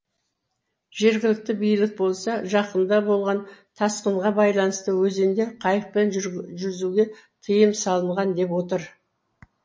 жергілікті билік болса жақында болған тасқынға байланысты өзенде қайықпен жүзуге тыйым салынған деп отыр